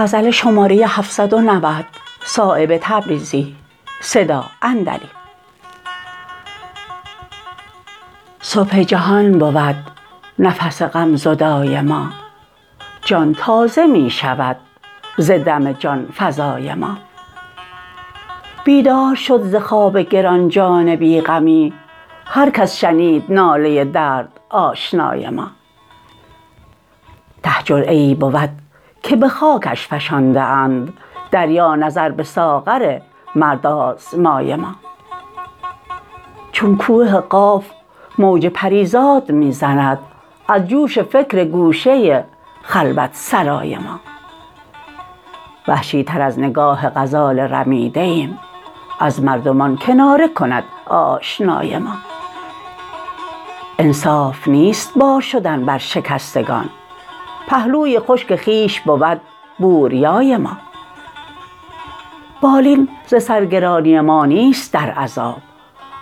صبح جهان بود نفس غم زدای ما جان تازه می شود زدم جانفزای ما بیدار شد ز خواب گرانجان بی غمی هر کس شنید ناله دردآشنای ما ته جرعه ای بود که به خاکش فشانده اند دریا نظر به ساغر مردآزمای ما چون کوه قاف موج پریزاد می زند از جوش فکر گوشه خلوت سرای ما وحشی تر از نگاه غزال رمیده ایم از مردمان کناره کند آشنای ما انصاف نیست بار شدن بر شکستگان پهلوی خشک خویش بود بوریای ما بالین ز سر گرانی ما نیست در عذاب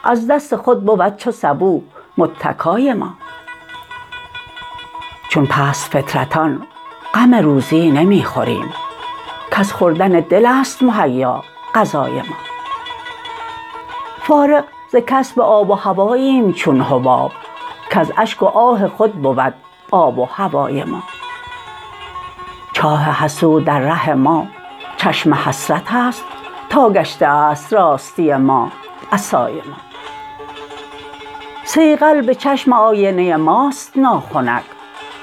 از دست خود بود چو سبو متکای ما چون پست فطرتان غم روزی نمی خوریم کز خوردن دل است مهیا غذای ما فارغ ز کسب آب و هواییم چون حباب کز اشک و آه خود بود آب و هوای ما چاه حسود در ره ما چشم حسرت است تا گشته است راستی ما عصای ما صیقل به چشم آینه ماست ناخنک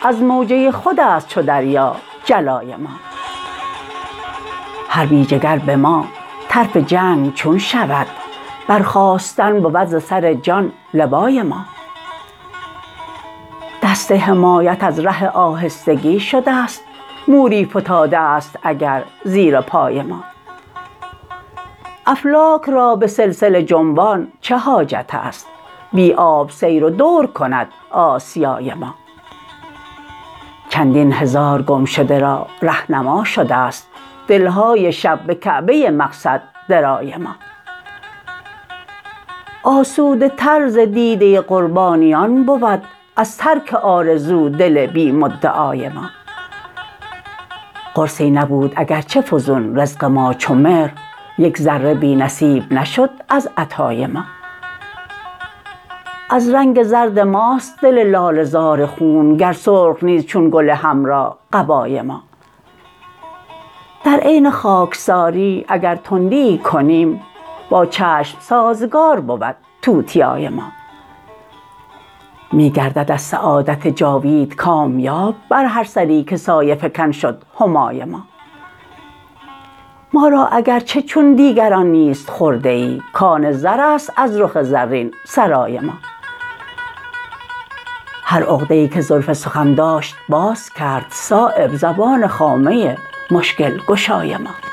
از موجه خودست چو دریا جلای ما هر بی جگر به ما طرف جنگ چون شود برخاستن بود ز سر جان لوای ما دست حمایت از ره آهستگی شده است موری فتاده است اگر زیر پای ما افلاک را به سلسله جنبان چه حاجت است بی آب سیر و دور کند آسیای ما چندین هزار گمشده را رهنما شده است دلهای شب به کعبه مقصد درای ما آسوده تر ز دیده قربانیان بود از ترک آرزو دل بی مدعای ما قرصی نبود اگر چه فزون رزق ما چو مهر یک ذره بی نصیب نشد از عطای ما از رنگ زرد ماست دل لاله زار خون گر سرخ نیست چون گل حمرا قبای ما در عین خاکساری اگر تندیی کنیم با چشم سازگار بود توتیای ما می گردد از سعادت جاوید کامیاب بر هر سری که سایه فکن شد همای ما ما را اگر چه چون دیگران نیست خرده ای کان زرست از رخ زرین سرای ما هر عقده ای که زلف سخن داشت باز کرد صایب زبان خامه مشکل گشای ما